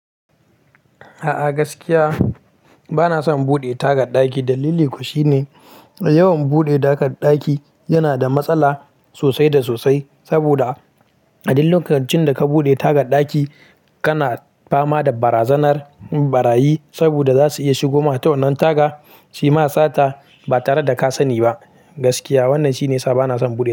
A'a gaskiya bana son buɗe tagar ɗaki. Dalili kuwa shine, yawan buɗe tagar ɗaki yana da matsala sosai da sosai. Saboda a duk lokacin da ka buɗe tagar ɗaki, kana fama da barazanar ɓarayi. Saboda za su iya shigoma ta wannan taga, suyi ma sata ba tare da ka sani ba. Gaskiya wannan shine yasa bana son buɗe.